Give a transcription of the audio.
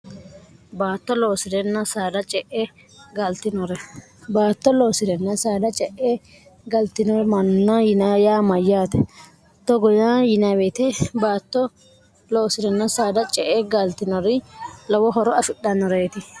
baatto irsdce'eglorbaatto loosi'renna saada ce'e galtinore manna yin yaa mayyaate togo yaa yinaweete baatto loosi'renna saada ce e gaaltinori lowo horo afidhannoreeti